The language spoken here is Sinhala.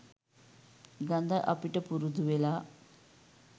ගද අපිට පුරුදුවෙලා .